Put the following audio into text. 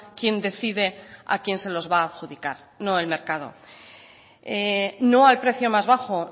quien decide a quien se los va a adjudicar no el mercado no al precio más bajo